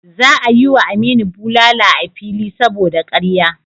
Za a yi wa Aminu bulala a fili saboda karya.